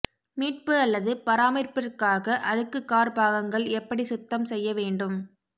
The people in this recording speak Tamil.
மீட்பு அல்லது பராமரிப்பிற்காக அழுக்கு கார் பாகங்கள் எப்படி சுத்தம் செய்ய வேண்டும்